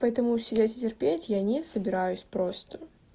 поэтому сидеть и терпеть я не собираюсь просто